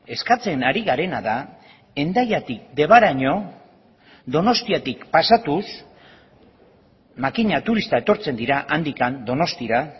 eskatzen ari garena da hendaiatik debaraino donostiatik pasatuz makina turista etortzen dira handik donostiara